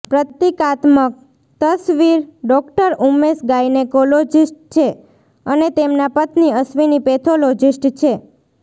પ્રતિકાત્મક તસવીરડોક્ટર ઉમેશ ગાયનેકોલોજીસ્ટ છે અને તેમના પત્ની અશ્વીની પેથોલોજીસ્ટ છે